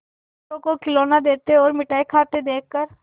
दूसरों को खिलौना लेते और मिठाई खाते देखकर